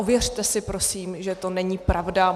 Ověřte si prosím, že to není pravda.